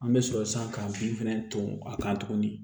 An bɛ sɔrɔ san ka bin fɛnɛ ton a kan tuguni